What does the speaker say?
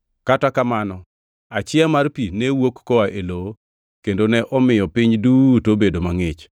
kata kamano achiya mar pi ne wuok koa ei lowo kendo ne omiyo piny duto obedo mangʼich.